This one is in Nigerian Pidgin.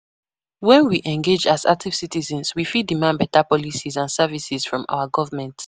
When we engage as active citizens, we fit demand beta policies and services from our government.